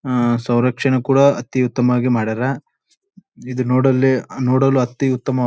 ಅಹ್ ಸ್ವರಕ್ಷಣೆ ಕೂಡ ಅತಿ ಉತ್ತಮವಾಗಿ ಮಾಡರ್ ಇದು ನೋಡಲ್ಲಿ ನೋಡಲು ಅತಿ ಉತ್ತಮ --